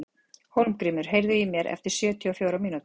Hólmgrímur, heyrðu í mér eftir sjötíu og fjórar mínútur.